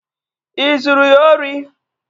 Ị zuru ya ori?